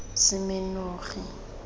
semenogi